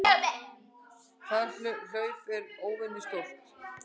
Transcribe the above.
Það hlaup var óvenju stórt.